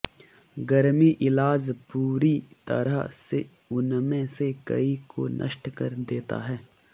गर्मी इलाज पूरी तरह से उनमें से कई को नष्ट कर देता है